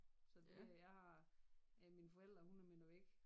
Så det jeg har øh mine forældre 100 meter væk